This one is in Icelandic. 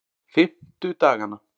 fimmtudagana